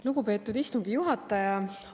Lugupeetud istungi juhataja!